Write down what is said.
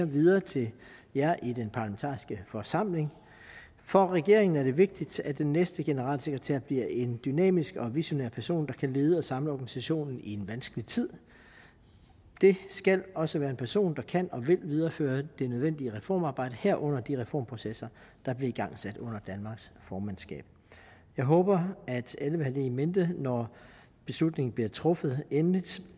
videre til jer i den parlamentariske forsamling for regeringen er det vigtigt at den næste generalsekretær bliver en dynamisk og visionær person der kan lede og samle organisationen i en vanskelig tid det skal også være en person der kan og vil videreføre det nødvendige reformarbejde herunder de reformprocesser der blev igangsat under danmarks formandskab jeg håber at alle vil i mente når beslutningen bliver truffet endeligt